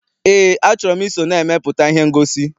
Eé, a chọrọ m I so na-emepụta ihe ngosi.